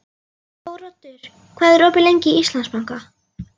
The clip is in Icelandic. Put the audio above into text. Þóroddur, hvað er opið lengi í Íslandsbanka?